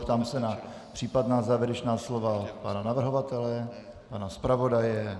Ptám se na případná závěrečná slova pana navrhovatele, pana zpravodaje...